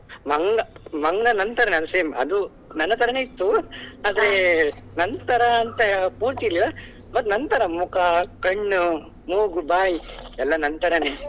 Manga ಮಂಗಾ ನನ್ ತರಾನೇ same ಅದು ನನ್ನ ತರಾನೇ ಇತ್ತು ಆದ್ರೆ ನನ್ ತರಾ ಅಂತ ಪೂರ್ತಿ ಇಲ್ಲ ಮತ್ತೆ ನನ್ ತರ ಮುಖ, ಕಣ್ಣು , ಮೂಗು, ಬಾಯಿ ಎಲ್ಲ ನನ್ ತರಾನೇ.